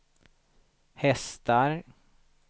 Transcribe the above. hästar